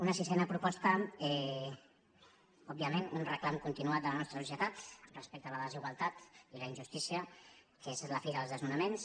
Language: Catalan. una sisena proposta òbviament un reclam continuat de la nostra societat respecte a la desigualtat i la injus·tícia que és la fi dels desnonaments